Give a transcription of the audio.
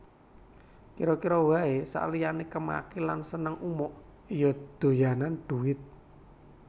Kira kira wae saliyane kemaki lan seneng umuk ya doyanan dhuwit